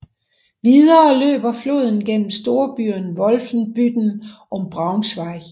Videre løber floden gennem storbyerne Wolfenbüttel og Braunschweig